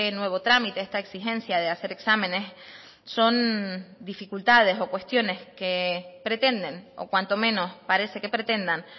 nuevo trámite esta exigencia de hacer exámenes son dificultades o cuestiones que pretenden o cuanto menos parece que pretendan